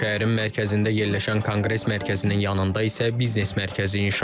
Şəhərin mərkəzində yerləşən konqres mərkəzinin yanında isə biznes mərkəzi inşa edilib.